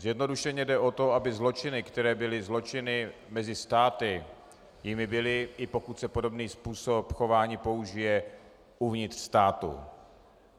Zjednodušeně jde o to, aby zločiny, které byly zločiny mezi státy, jimi byly, i pokud se podobný způsob chování použije uvnitř státu.